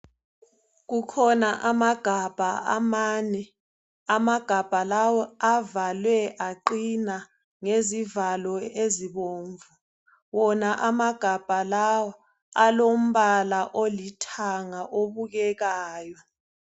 Kukhona amagabha amane amagabha lawo avalwe aqina ngezivalo ezibomvu wona amagabha lawa alombala olithanga obukekayo.